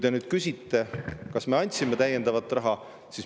Te küsisite, kas me andsime täiendavat raha.